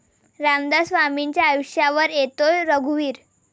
रामदास स्वामींच्या आयुष्यावर येतोय 'रघुवीर'